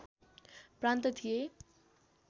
प्रान्त थिए